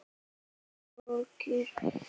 Mér er borgið.